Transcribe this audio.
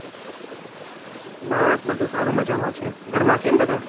બસ બધુ સારું મજામાં છે. ઘર માં કેમ બધા?